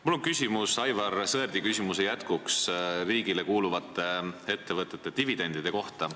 Mul on küsimus, mis jätkab Aivar Sõerdi küsimust riigile kuuluvate ettevõtete dividendide kohta.